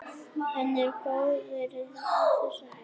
Hann var góður þessi.